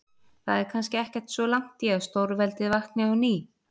Það er kannski ekkert svo langt í að stórveldið vakni á ný.